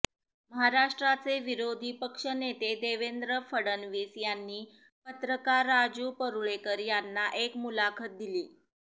महाराष्ट्राचे विरोधी पक्षनेते देवेंद्र फडणवीस यांनी पत्रकार राजू परुळेकर यांना एक मुलाखत दिली